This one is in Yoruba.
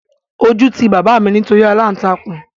Ojú ti bàbá mi nítorí aláǹtakùn